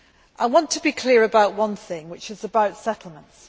I want to be clear about one thing, namely about settlements.